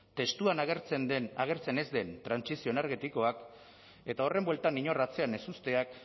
testuan agertzen ez den trantsizio energetikoak eta horren bueltan inor atzean ez uzteak